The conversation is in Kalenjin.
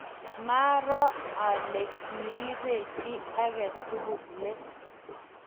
maaro ale kirubech chii age tugul let